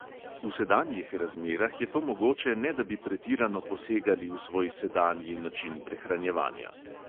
V sedanjih razmerah je to mogoče, ne da bi pretirano posegali v svoj sedanji način prehranjevanja.